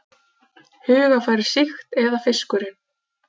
Hugarfarið sýkt eða fiskurinn?